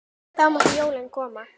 Þá máttu jólin koma.